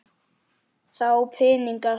Þá pening sá.